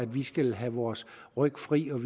vi skal have vores ryg fri og